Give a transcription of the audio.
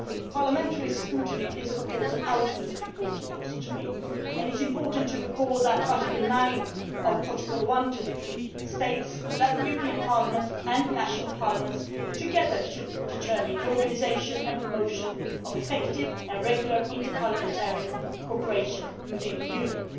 Parliamentary scrutiny is, of course, of the utmost importance to me as well. It is important to recall that Article 9 of Protocol 1 to the Treaty states that the European Parliament and national parliaments together should determine the organisation and promotion of effective and regular interparliamentary cooperation within the Union.